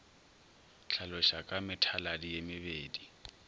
hlaloša ka methaladi ye mebedi